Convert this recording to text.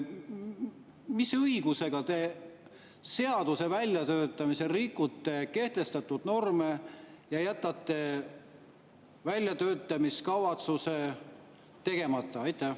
Mis õigusega te seaduse väljatöötamisel rikute kehtestatud norme ja jätate väljatöötamiskavatsuse tegemata?